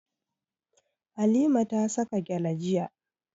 Halima ta saka gyale jiya.